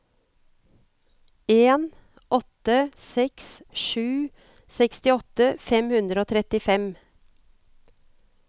en åtte seks sju sekstiåtte fem hundre og trettifem